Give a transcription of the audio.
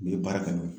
N'i ye baara kɛ n'o ye